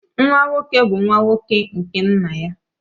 Nwa nwoke bu nwa nwoke nke nna ya